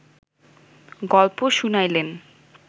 গল্প শুনাইলেন